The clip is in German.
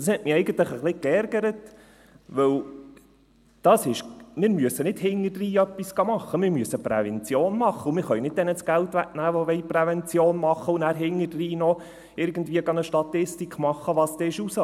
Und das hat mich eigentlich etwas geärgert, denn wir müssen nicht im Nachhinein etwas machen, sondern wir müssen Prävention machen, und wir können nicht denjenigen das Geld wegnehmen, die Prävention machen wollen, und dann irgendwie im Nachhinein noch eine Statistik darüber machen, was herauskam.